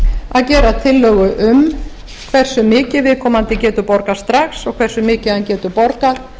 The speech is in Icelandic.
að gera tillögu um hversu viðkomandi getur borgað strax og hversu mikið hann getur borgað